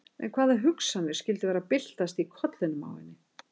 En hvaða hugsanir skyldu vera að byltast í kollinum á henni?